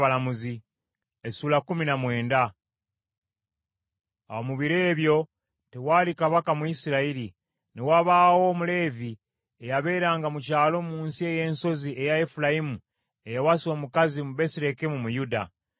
Awo mu biro ebyo tewaali kabaka mu Isirayiri. Ne wabaawo Omuleevi eyabeeranga mu kyalo mu nsi ey’ensozi eya Efulayimu eyawasa omukazi mu Besirekemu mu Yuda.